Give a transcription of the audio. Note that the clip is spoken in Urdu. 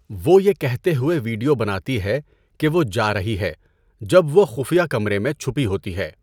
وہ یہ کہتے ہوئے ویڈیو بناتی ہے کہ وہ جا رہی ہے جب وہ خفیہ کمرے میں چھپی ہوتی ہے۔